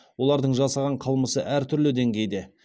олардың жасаған қылмысы әртүрлі дейгейде